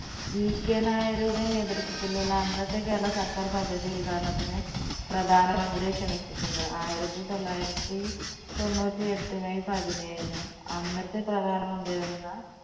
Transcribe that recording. VK നായരുടെ നേതൃത്വത്തിലുള്ള അന്നത്തെ കേരള സർക്കാർ പദ്ധതി ഉദ്ഘാടനത്തിന് പ്രധാന മന്ത്രിയെ ക്ഷണിച്ചിട്ടുണ്ട്. ആയിരത്തി തൊള്ളായിരത്തി തൊണ്ണൂറ്റി എട്ട് may പതിനേഴിന് അന്നത്തെ പ്രധാന മന്ത്രി ആയിരുന്ന